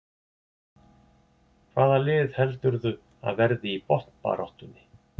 Hvaða lið heldurðu að verði í botnbaráttunni?